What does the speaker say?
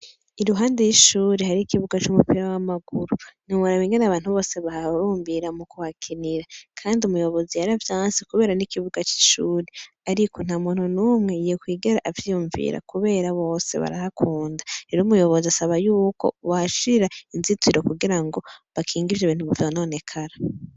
Iruhande y'ishure hariho ikibuga c'umupira w'amaguru. Ntiworaba ingene abantu bose bahahurumbira mukuhakinira, kandi umuyobozi yaravyanse kubera ni ikibuga c'ishure. Ariko nta muntu n'umwe yokwigera avyiyumvira kubera bose barahakunda. Rero umuyobozi asaba y’uko bohashira inzitiro kugira bakinge ivyo bintu bitononekara.